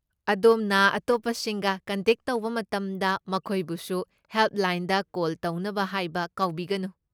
ꯑꯗꯣꯝꯅ ꯑꯇꯣꯞꯄꯁꯤꯡꯒ ꯀꯟꯇꯦꯛ ꯇꯧꯕ ꯃꯇꯝꯗ, ꯃꯈꯣꯏꯕꯨꯁꯨ ꯍꯦꯜꯞꯂꯥꯏꯟꯗ ꯀꯣꯜ ꯇꯧꯅꯕ ꯍꯥꯏꯕ ꯀꯥꯎꯕꯤꯒꯅꯨ꯫